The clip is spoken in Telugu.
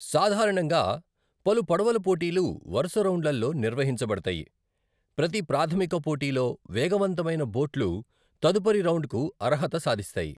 సాధారణంగా, పలు పడవల పోటీలు వరుస రౌండ్లలో నిర్వహించబడతాయి, ప్రతి ప్రాధమిక పోటీలో వేగవంతమైన బోట్లు తదుపరి రౌండ్కు అర్హత సాధిస్తాయి.